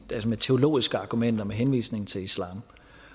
med teologiske argumenter med henvisning til islam